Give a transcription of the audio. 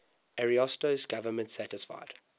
ariosto's government satisfied